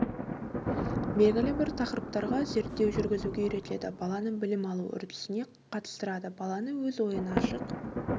белгілі бір тақырыптарға зерттеу жүргізуге үйретеді баланы білім алу үрдісіне қатыстырады баланы өз ойын ашық